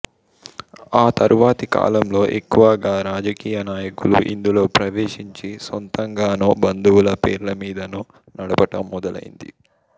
ఆ తరువాతి కాలంలో ఎక్కువగా రాజకీయనాయకులు ఇందులో ప్రవేశించి సొంతంగానో బంధువుల పేర్లమీదనో నడపటం మొదలైంది